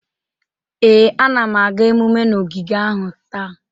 Ee, anam aga emume na ogige ahụ taa.